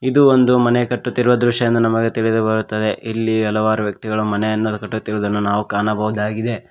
ಇದು ಒಂದು ಮನೆ ಕಟ್ಟುತ್ತಿರುವ ದೃಶ್ಯ ಎಂದು ನಮಗೆ ತಿಳಿದು ಬರುತ್ತದೆ ಇಲ್ಲಿ ಹಲವಾರು ವ್ಯಕ್ತಿಗಳು ಮನೆಯನ್ನು ಕಟ್ಟುತ್ತಿರುವುದನ್ನು ನಾವು ಕಾಣಬಹುದಾಗಿದೆ.